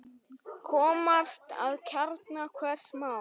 Komast að kjarna hvers máls.